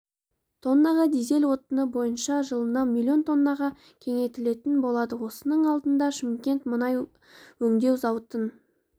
тоннаға дизель отыны бойынша жылына млн тоннаға кеңейтілетін болады осының алдында шымкент мұнай өңдеу зауытын